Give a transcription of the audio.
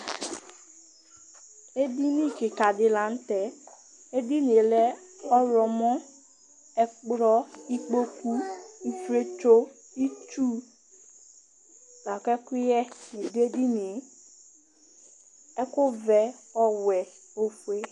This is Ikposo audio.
Edini kikadi lanʋtɛ, edinie lɛ ɔwlɔmɔ, ɛkplɔ, ikpokʋ, ifetso, itsu, lakʋ ɛkʋyɛ dʋ edinie, ɛkʋvɛ, ɔwɛ, ofue